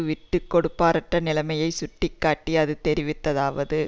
விட்டு கொடுப்பற்ற நிலைமையை சுட்டி காட்டி அது தெரிவித்ததாவது